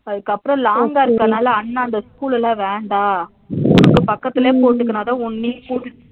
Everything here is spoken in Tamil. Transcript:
அதுகப்பறம் long கா இருகனால அண்ணா அந்த school ல வேண்டா உனக்கு பக்கத்துல போட்டுனாகதா நீ